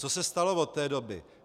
Co se stalo od té doby?